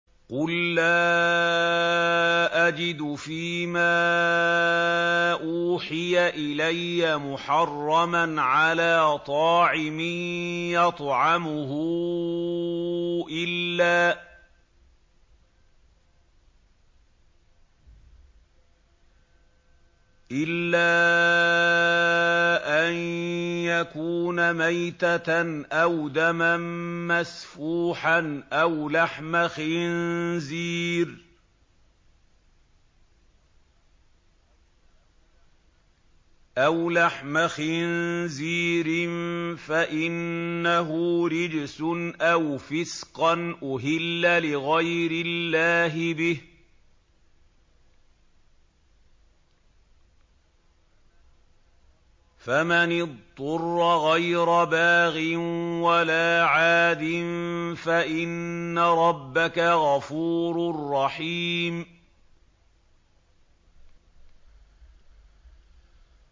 قُل لَّا أَجِدُ فِي مَا أُوحِيَ إِلَيَّ مُحَرَّمًا عَلَىٰ طَاعِمٍ يَطْعَمُهُ إِلَّا أَن يَكُونَ مَيْتَةً أَوْ دَمًا مَّسْفُوحًا أَوْ لَحْمَ خِنزِيرٍ فَإِنَّهُ رِجْسٌ أَوْ فِسْقًا أُهِلَّ لِغَيْرِ اللَّهِ بِهِ ۚ فَمَنِ اضْطُرَّ غَيْرَ بَاغٍ وَلَا عَادٍ فَإِنَّ رَبَّكَ غَفُورٌ رَّحِيمٌ